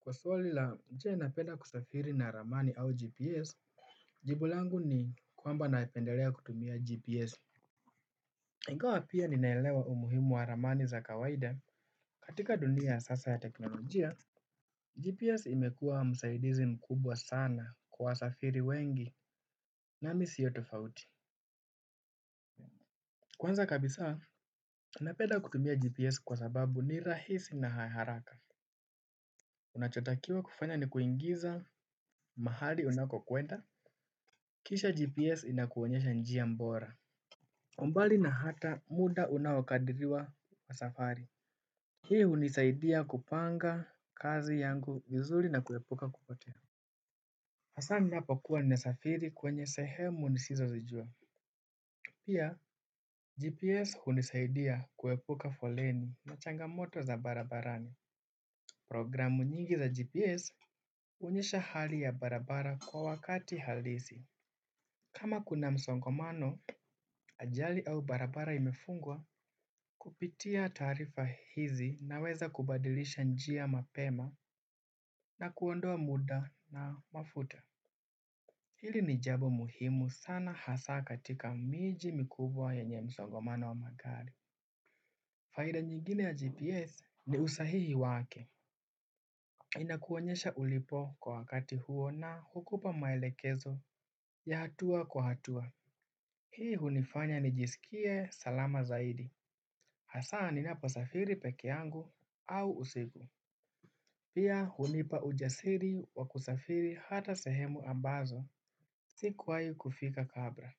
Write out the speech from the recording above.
Kwa swali la nje napenda kusafiri na ramani au GPS, jibu langu ni kwamba napendelea kutumia GPS. Ingawa pia ninaelewa umuhimu wa ramani za kawaida katika dunia sasa ya teknolojia, GPS imekuwa msaidizi mkubwa sana kwa wasafiri wengi nami siyo tofauti. Kwanza kabisa, napenda kutumia GPS kwa sababu ni rahisi na haraka. Unachotakiwa kufanya ni kuingiza mahali unako kwenda. Kisha GPS inakuonyesha njia bora. Mbali na hata muda unaokadiriwa wa safari. Hii hunisaidia kupanga kazi yangu vizuri na kuepuka kupotea. Hasaa ninapo kuwa ninasafiri kwenye sehemu nisizo zijua. Pia, GPS hunisaidia kuepuka foleni na changamoto za barabarani. Programu nyingi za GPS huonyesha hali ya barabara kwa wakati halisi. Kama kuna msongomano ajali au barabara imefungwa kupitia taarifa hizi naweza kubadilisha njia mapema na kuondoa muda na mafuta. Hili ni jambo muhimu sana hasa katika miji mikubwa yenye msongomano wa magari. Faida nyingine ya GPS ni usahihi wake. Inakuonyesha ulipo kwa wakati huo na hukupa maelekezo ya hatua kwa hatua. Hii hunifanya nijisikie salama zaidi. Hasaa ninapasafiri pekee yangu au usiku. Pia hunipa ujasiri wa kusafiri hata sehemu ambazo sikuwahi kufika kabla.